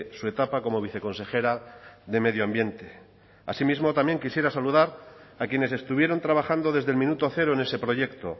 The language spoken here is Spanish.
su etapa como viceconsejera de medio ambiente asimismo también quisiera saludar a quienes estuvieron trabajando desde el minuto cero en ese proyecto